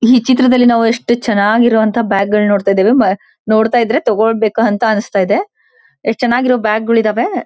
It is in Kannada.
ಈ ಚಿತ್ರದಲ್ಲಿ ನಾವು ಎಷ್ಟು ಚೆನ್ನಾಗಿರೋ ಅಂತ ಬ್ಯಾಗ್ ಗಳಿನ್ನ ನೋಡ್ತಾ ಇದ್ದೇವೆ. ನೋಡ್ತಾ ಇದ್ರೆ ತಗೊಳ್ಬೇಕ್ ಅಂತ ಅನ್ನಿಸ್ತಾ ಇದೆ ಎಸ್ಟ್ ಚೆನ್ನಾಗಿರೋ ಬ್ಯಾಗ್ ಗಳಿದಾವೆ.